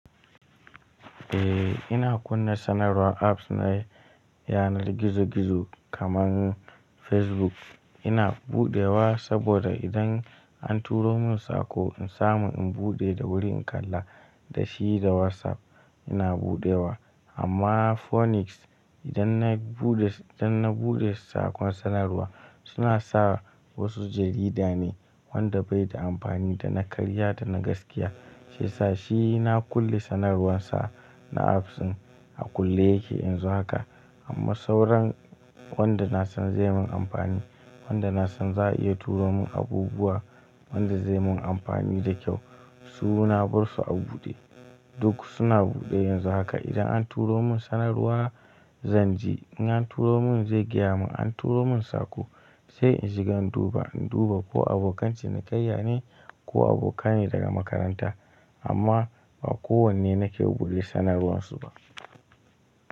Eh ina kunna sanarwar apps na yanar gizo-gizo kamar Facebook ina buɗewa saboda idan an turo mun saƙo in samu in buɗe da wuri in kalla. Da shi da WhatsApp ina buɗewa amma Phoenix idanna buɗe, idan na buɗe saƙon sanarwa sunasa wasu jaridane wanda baida amfani dana karya dana gaskiya shiyasa shi na kulle sanarwarsa na apps din a kulle yake a yanzu haka. Amma sauran wanda nasan zai mun amfani, wanda nasan za'a iya turomun abubuwa wanda zaimun amfani da kyau su na bar su a buɗe. Duk suna buɗe yanzu haka idan an turo mun sanarwa zanji, in an turo mun zai gyama mun anturomun saƙo sai in shiga in duba, in duba ko abokan cinikayyane, ko abokane daga makaranta amma ba kowanne nake buɗe sanarwarsu ba.